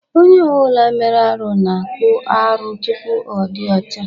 Onye ọ bụla mere arụ na-akpụ arụ tupu ọ dị ọcha.